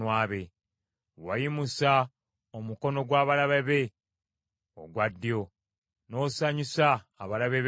Wayimusa omukono gw’abalabe be ogwa ddyo, n’osanyusa abalabe be bonna.